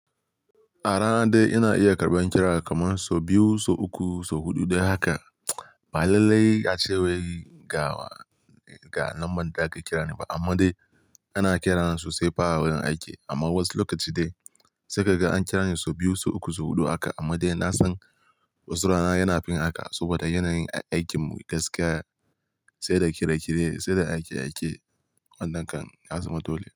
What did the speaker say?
A rana dai ina iya karɓan ƙira kamar sau biyu, sau uku, sau huɗu dai haka. Ba lallai ace wai ga number da aka ƙirani ba amma dai ana ƙirana sosai fa a wurin aiki amma wasu lokaci sai kaga an ƙira ni sau biyu, sau uku, sau huɗu haka amma dai na san wasu rana yana fin haka saboda yanayin aikin mu gaskiya sai da kire kire, sai da aike aike wannan kan ya zama dole.